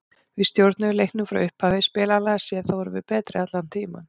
Við stjórnuðum leiknum frá upphafi og spilanlega séð þá vorum við betri allan tímann.